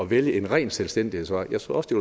vælge en ren selvstændighedsvej jeg tror også det